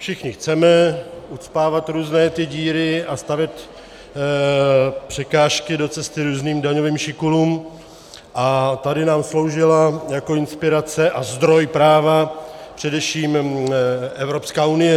Všichni chceme ucpávat ty různé díry a stavět překážky do cesty různým daňovým šikulům a tady nám sloužila jako inspirace a zdroj práva především Evropská unie.